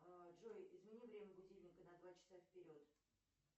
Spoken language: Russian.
джой измени время будильника на два часа вперед